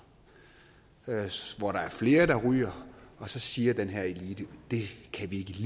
hvor der er flere der ryger og så siger den her elite at det kan de